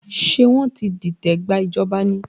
Ṣé wọ́n ti dìtẹ̀ gba ìjọba ni?